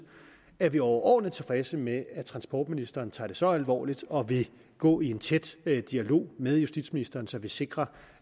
er vi overordentlig tilfredse med at transportministeren tager det så alvorligt og vil gå i en tæt dialog med justitsministeren så vi sikrer